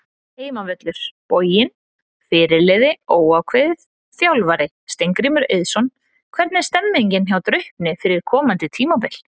Heimavöllur: Boginn Fyrirliði: Óákveðið Þjálfari: Steingrímur Eiðsson Hvernig er stemningin hjá Draupni fyrir komandi tímabil?